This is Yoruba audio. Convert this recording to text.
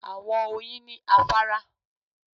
Àwọn Oyin ni afárá